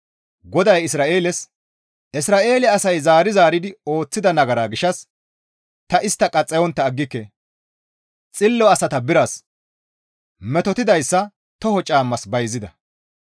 GODAY Isra7eeles, «Isra7eele asay zaari zaaridi ooththida nagara gishshas ta istta qaxxayontta aggike. Xillo asata biras, metotidayssa toho caammas bayzida.